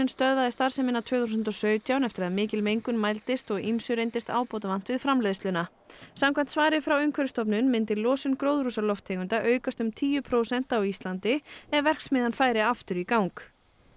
stöðvaði starfsemina tvö þúsund og sautján eftir að mikil mengun mældist og ýmsu reyndist ábótavant við framleiðsluna samkvæmt svari frá Umhverfisstofnun myndi losun gróðurhúsalofttegunda aukast um tíu prósent á Íslandi ef verksmiðjan færi aftur í gang